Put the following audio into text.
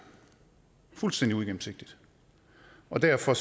fuldstændig uigennemsigtigt og derfor